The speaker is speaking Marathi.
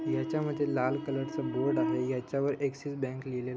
याच्यामधे लाल कलर च बोर्ड आहे. यांच्यावर अक्सिक्स-बैंक लिहलेल--